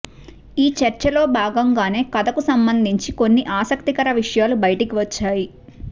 ఈ చర్చలో భాగంగానే కథకు సంబంధించి కొన్ని ఆసక్తికర విషయాలు బయటికి వచ్చాయి